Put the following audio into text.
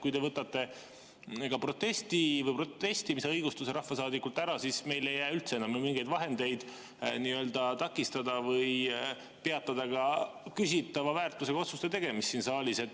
Kui te võtate ka protestimise õiguse rahvasaadikult ära, siis meil ei jää üldse enam mingeid vahendeid takistada või peatada küsitava väärtusega otsuste tegemist siin saalis.